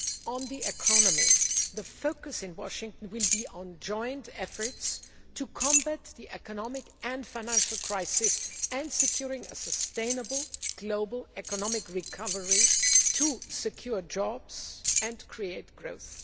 On the economy, the focus in Washington will be on joint efforts to combat the economic and financial crisis and securing a sustainable global economic recovery to secure jobs and create growth.